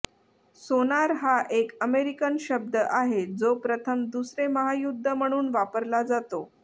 सोनार हा एक अमेरिकन शब्द आहे जो प्रथम दुसरे महायुद्ध म्हणून वापरला जातो